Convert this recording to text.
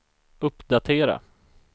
uppdatera